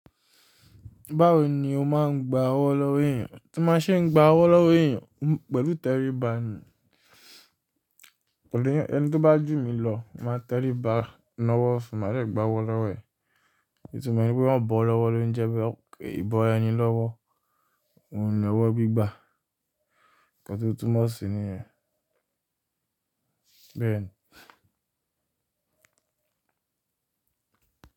Báwo ni o máa ń gba ọwọ́ lọ́wọ́ èèyàn? Tí mo ṣe ń gba ọwọ́ lọ́wọ́ èèyàn pẹ̀lú tẹríba ni, kò le yẹn, ẹni tí ó bá jù mí lọ, màá tẹríba ná ọwọ́ fún un, màá dè gba ọwọ́ lọ́wọ́ ẹ̀. Itumo e ni pé wọ́n bọ́ o lọ́wọ́ ló ń jẹ́ beé ìbọra ẹni lọ́wọ́, òhun ni owọ́ gbígbà. Ǹkan ti o túnmo sì niyẹn, bẹ́ẹ̀ni.